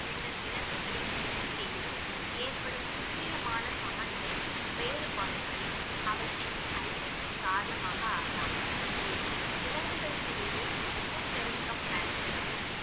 உள்ள விலங்குகளின் எண்ணிக்கையிலும் ஏற்படும் துல்லியமான சமநிலை வேறுபாடுகளின் அவற்றின் அழிவுக்கு காரணமாக ஆகலாம் மேலும் விலங்குகளுக்கு இடையே இனப்பெருக்கம் நடைபெறவும்